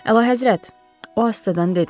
Əlahəzrət, o asta-asta danışdı.